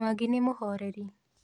Mwangi nĩmũhoreri.